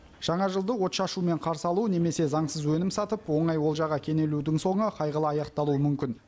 жаңа жылды отшашумен қарсы алу немесе заңсыз өнім сатып оңай олжаға кенелудің соңы қайғылы аяқталуы мүмкін